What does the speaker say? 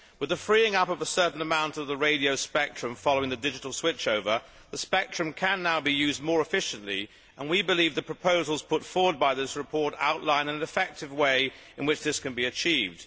With the freeing up of a certain amount of the radio spectrum following the digital switchover, the spectrum can now be used more efficiently and we believe the proposals put forward by this report outline an effective way in which this can be achieved.